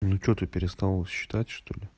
ничего ты перестала считать что ли